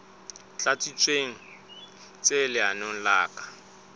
tlatsitsweng tse lenaneong le ka